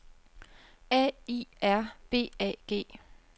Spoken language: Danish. A I R B A G